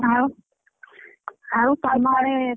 ଆଉ ଆଉ ତମ ଆଡେ।